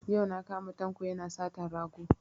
Yau na kama Tanko yana satan rago